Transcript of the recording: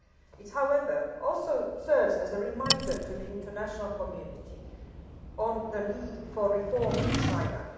It also serves, however, as a reminder to the international community of the need for reform in China.